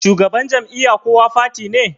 shugaban Jam'iyya kowa fati ne